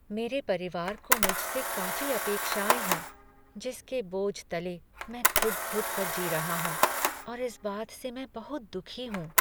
मेरे परिवार को मुझसे काफी अपेक्षाएं है जिसके बोझ तले मैं घुट घुट कर जी रहा हूँ और इस बात से मैं बहुत दुखी हूँ।